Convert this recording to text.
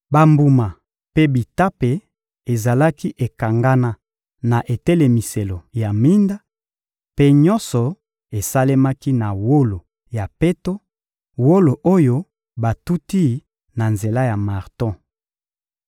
Bambuma mpe bitape ezalaki ekangana na etelemiselo ya minda; mpe nyonso esalemaki na wolo ya peto, wolo oyo batuti na nzela ya marto.